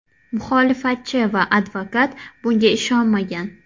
Muxolifatchi va advokat bunga ishonmagan.